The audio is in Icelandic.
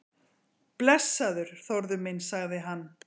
Blessaður, Þórður minn sagði hann.